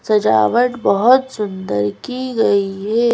सजावट बहुत सुंदर की गई है।